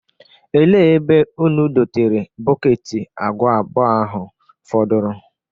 Ele ebe ụnụ dotere bọketi agwa abụọ ahụ fọdụrụ?